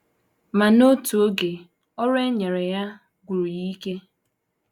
Ma, n’otu oge, ọrụ e nyere ya gwụrụ ya ike.